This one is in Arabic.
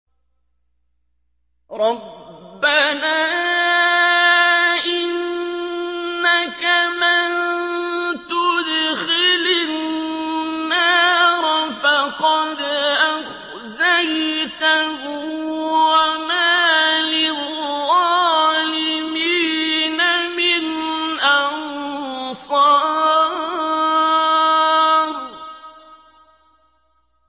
رَبَّنَا إِنَّكَ مَن تُدْخِلِ النَّارَ فَقَدْ أَخْزَيْتَهُ ۖ وَمَا لِلظَّالِمِينَ مِنْ أَنصَارٍ